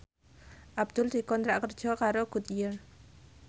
Abdul dikontrak kerja karo Goodyear